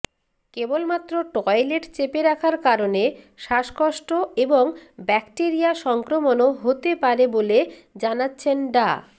কেবলমাত্র টয়লেট চেপে রাখার কারণে শ্বাসকষ্ট এবং ব্যাকটেরিয়া সংক্রমণও হতে পারে বলে জানাচ্ছেন ডা